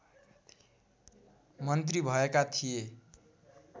मन्त्री भएका थिए